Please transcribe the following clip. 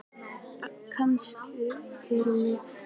Bjarki, hækkaðu í græjunum.